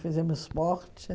Fizemos esporte.